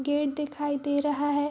Gate दिखाई दे रहा है।